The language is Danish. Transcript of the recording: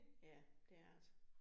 Ja, det er ret